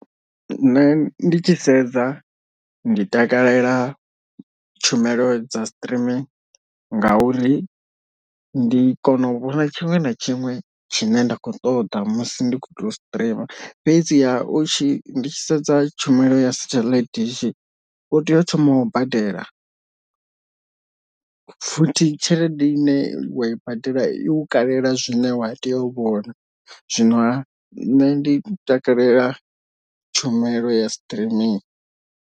Nṋe ndi tshi sedza ndi takalela tshumelo dza streaming ngauri ndi kona u vhona tshiṅwe na tshiṅwe tshine nda kho ṱoḓa musi ndi kho to streamer, fhedziha u tshi ndi tshi sedza tshumelo ya satellite dish u tea u thoma wa badela futhi tshelede i ne i wa i badela iu kalela zwine wa tea u vhona zwino ha nṋe ndi takalela tshumelo ya streaming.